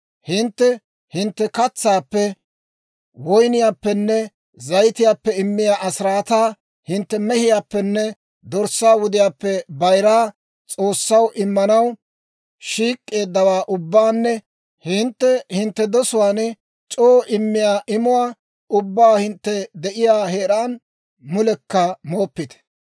«Hintte hintte katsaappe, woyniyaappenne zayitiyaappe immiyaa asiraataa, hintte mehiyaappenne dorssaa wudiyaappe bayiraa, S'oossaw immanaw shiik'k'eeddawaa ubbaanne hintte hintte dosuwaan c'oo immiyaa imuwaa ubbaa hintte de'iyaa heeraan mulekka mooppite.